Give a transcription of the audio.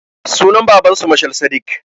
Sunan babansu mashal sadik